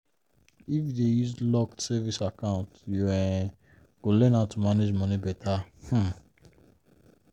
if you dey use locked savings account you um go learn how to manage money better. um